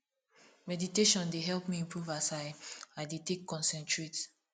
meditation dey help me improve as i i dey take concentrate